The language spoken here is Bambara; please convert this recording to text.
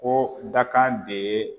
Ko dakan de ye